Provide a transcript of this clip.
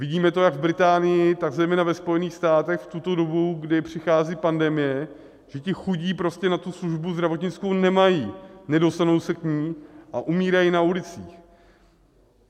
Vidíme to jak v Británii, tak zejména ve Spojených státech v tuto dobu, kdy přichází pandemie, že ti chudí prostě na tu službu zdravotnickou nemají, nedostanou se k ní a umírají na ulicích.